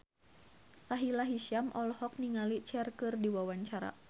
Sahila Hisyam olohok ningali Cher keur diwawancara